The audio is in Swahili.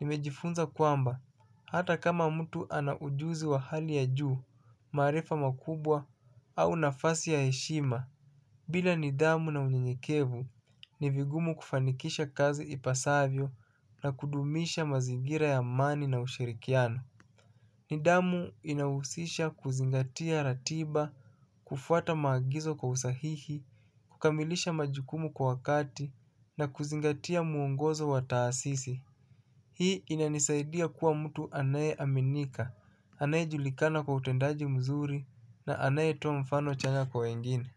nimejifunza kwamba hata kama mtu ana ujuzi wa hali ya juu maarifa makubwa au nafasi ya heshima. Bila nidhamu na unyenyekevu ni vigumu kufanikisha kazi ipasavyo na kudumisha mazingira ya amani na ushirikiano. Nidhamu inahusisha kuzingatia ratiba, kufuata maagizo kwa usahihi, kukamilisha majukumu kwa wakati na kuzingatia mwongozo wa taasisi. Hii inanisaidia kuwa mtu anaye aminika, anaye julikana kwa utendaji mzuri na anaye toa mfano chanya kwa wengine.